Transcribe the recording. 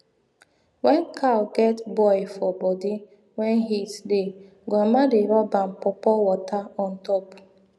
wen cow get boil for body wen heat dey grandma dey rub am pawpaw water ontop